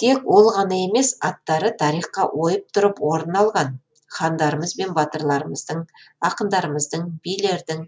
тек ол ғана емес аттары тарихқа ойып тұрып орын алған хандарымыз бен батырларымыздың ақындарымыздың билердің